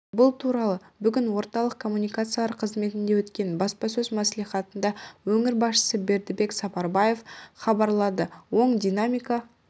бұл туралы бүгін орталық коммуникациялар қызметінде өткен баспасөз мәслихатында өңір басшысы бердібек сапарбаев хабарлады оң динамика